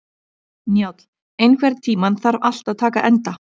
Njáll, einhvern tímann þarf allt að taka enda.